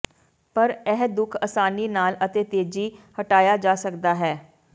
ਪਰ ਇਹ ਦੁੱਖ ਆਸਾਨੀ ਨਾਲ ਅਤੇ ਤੇਜ਼ੀ ਹਟਾਇਆ ਜਾ ਸਕਦਾ ਹੈ